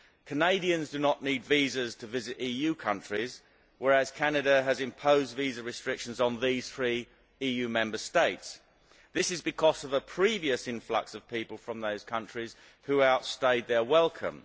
Canadians do not need visas to visit EU countries, whereas Canada has imposed visa restrictions on these three EU Member States. This is because of a previous influx of people from those countries who outstayed their welcome.